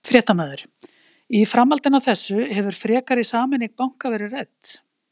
Fréttamaður: Í framhaldinu af þessu hefur frekari sameining banka verið rædd?